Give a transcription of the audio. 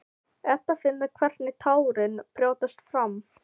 Edda finnur hvernig tárin brjótast fram.